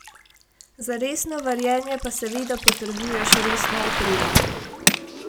Za resno varjenje pa seveda potrebuješ resno opremo.